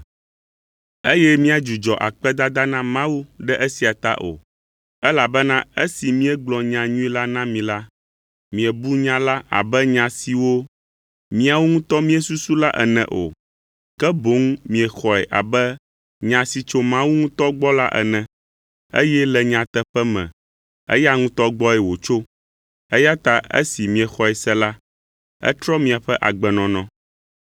Eye míadzudzɔ akpedada na Mawu ɖe esia ta o, elabena esi míegblɔ nyanyui la na mi la, miebu nya la abe nya siwo míawo ŋutɔ míesusu la ene o, ke boŋ miexɔe abe Nya si tso Mawu ŋutɔ gbɔ la ene, eye le nyateƒe me eya ŋutɔ gbɔe wòtso, eya ta esi miexɔe se la, etrɔ miaƒe agbenɔnɔ.